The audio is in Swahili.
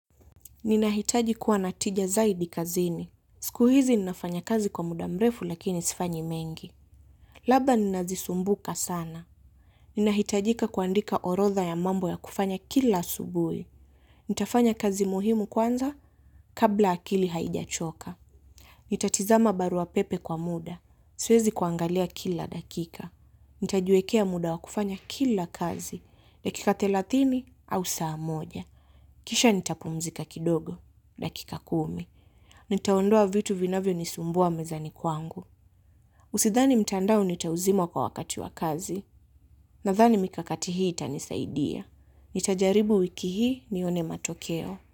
Ninahitaji kuwa na tija zaidi kazini. Siku hizi ninafanya kazi kwa muda mrefu lakini sifanyi mengi. Labda ninazisumbuka sana. Ninahitajika kuandika orodha ya mambo ya kufanya kila asubuhi. Nitafanya kazi muhimu kwanza kabla akili haijachoka. Nitatazama barua pepe kwa muda. Siwezi kuangalia kila dakika. Nitajiwekea muda wa kufanya kila kazi. Dakika thelathini au saa moja. Kisha nitapumzika kidogo. Dakika kumi. Nitaondoa vitu vinavyonisumbua mezani kwangu. Sidhani mtandao nitauzima kwa wakati wa kazi. Nadhani mikakati hii itanisaidia. Nitajaribu wiki hii nione matokeo.